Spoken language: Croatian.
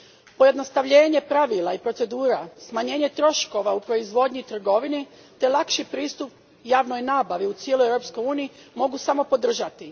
Pojednostavljenje pravila i procedura, smanjenje troškova u proizvodnji i trgovini te lakši pristup javnoj nabavi u cijeloj Europskoj uniji mogu samo podržati.